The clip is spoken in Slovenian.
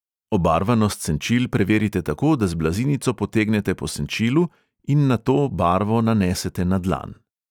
Obarvanost senčil preverite tako, da z blazinico potegnete po senčilu in nato barvo nanesete na dlan.